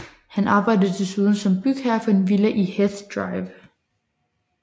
Han arbejdede desuden som bygherre for en villa i Heath Drive